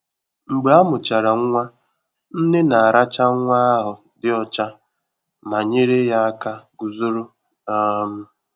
Mgbe amuchara nwa, nne na-aracha nwa ahụ dị ọcha ma nyere ya aka guzoro. um